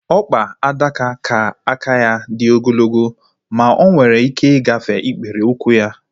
Ọkpa adaka ka aka ya dị ogologo ma onwere ike ịgafe ikpere ụkwụ ya